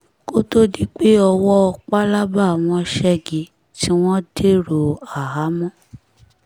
kó tóó di pé owó pálábá wọn ṣẹ́gi tí wọ́n dèrò àhámọ́